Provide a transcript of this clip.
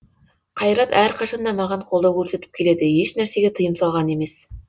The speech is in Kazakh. қайрат әрқашан да маған қолдау көрсетіп келеді ешнәрсеге тыйым салған емес